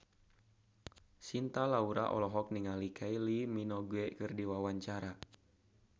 Cinta Laura olohok ningali Kylie Minogue keur diwawancara